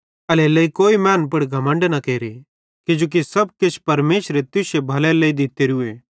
एल्हेरेलेइ कोई मैनन् पुड़ घमण्ड न केरे किजोकि किछ परमेशरे तुश्शू भलेरे लेइ दित्तोरूए